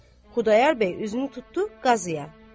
Xudayar bəy üzünü tutdu Qazıya.